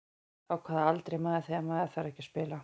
Á hvaða aldri er maður þegar maður þarf ekki að spila?